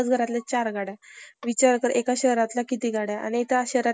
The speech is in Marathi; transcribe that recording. education society त दाखल झाले. पुण्यात आल्यानंतर प्रथम दिड वर्ष त्यांनी, एक अगदी एकमार्गीपपणे काम केले.